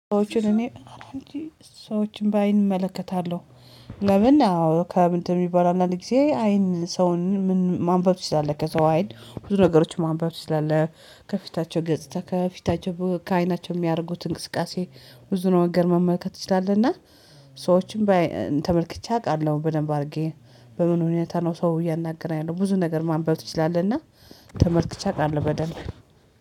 ሰዎችን እኔ እንጂ ሰዎችን በአይን እመለከታለሁ። ለምን አዎ ከምን የሚባል አለ ጊዜ አይን ሰውን ማንበብ ትችላለህ ከሰው አይን ብዙ ነገሮችን ማንበብ ትችላለህ። ከፊታቸው ገጽታ ከፊታቸው ከአይናቸው የሚያደርጉት እንቅስቃሴ ብዙ ነገር መመልከት ትችላልና። ሰዎችን ተመልክቼ አውቃለሁ በደንብ አድርጌ በምን ሁኔታ ነው ሰው እያናገረ ያለው ብዙ ነገር ማንበብ ትችላለህ። እና ተመልክቼ አውቃለሁ በደንብ